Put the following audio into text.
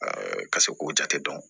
ka se k'o jate dɔn